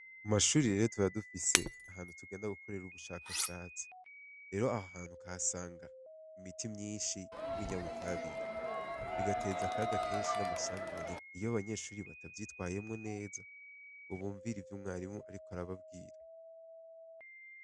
Mu mashure rero tuba dufise ahantu tugenda gukorera ubushakashatsi. Rero aha hantu ukahasanga imiti myinshi y'ibinyabitabire bigateza akaga kenshi n'amasanganya iyo abanyeshure batavyitwayemwo neza ngo bumvire ivyo umwarimu ariko arababwira.